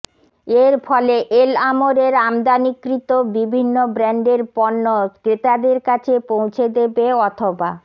এর ফলে এল আমরের আমদানিকৃত বিভিন্ন ব্র্যান্ডের পণ্য ক্রেতাদের কাছে পৌঁছে দেবে অথবা